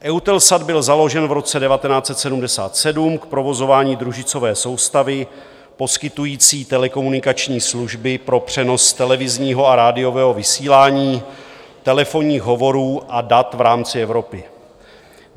EUTELSAT byl založen v roce 1977 k provozování družicové soustavy poskytující telekomunikační služby pro přenos televizního a radiového vysílání, telefonních hovorů a dat v rámci Evropy.